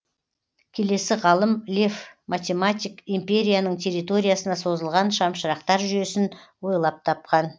келесі ғалым лев математик империяның территориясына созылған шамшырақтар жүйесін ойлап тапқан